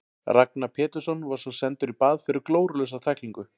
Ragnar Pétursson var svo sendur í bað fyrir glórulausa tæklingu.